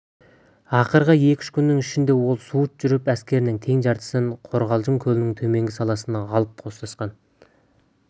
ақырғы екі-үш күннің ішінде ол суыт жүріп әскерінің тең жартысын қорғалжын көлінің төменгі саласына әкеп қостатқан